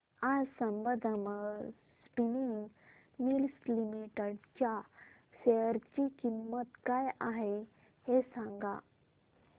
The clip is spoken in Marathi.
आज संबंधम स्पिनिंग मिल्स लिमिटेड च्या शेअर ची किंमत काय आहे हे सांगा